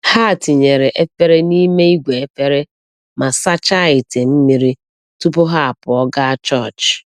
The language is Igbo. Ha tinyere efere n’ime igwe efere ma sachaa ite mmiri tupu ha apụọ gaa chọọchị.